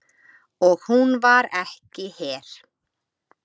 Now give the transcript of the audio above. Og hún var ekki her.